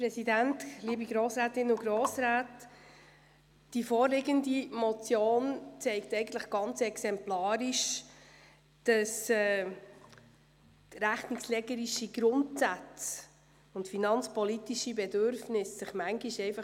Die vorliegende Motion zeigt exemplarisch, dass sich Grundsätze der Rechnungslegung und finanzpolitische Bedürfnisse teilweise beissen.